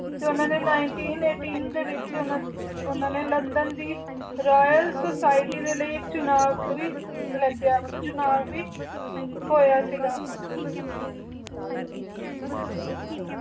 ਓਨਾ ਨੀ ਲੰਦਨ ਵੀ royal suite ਦੇ ਲਾਏ ਚਨਾਬ ਅਲੀ ਲਾਗ੍ਯ ਮਤਲਬ ਚਨਾਬ ਵੀ ਹੋਯਾ ਸੇ ਗਾ ਹਨ ਜੀ ਬਿਲਕੁਲ ਤੁਸੀਂ ਸੀ ਕਿਯਾ